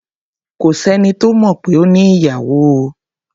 Kò sẹ́ni tó mọ̀ pé ó ní ìyàwó o.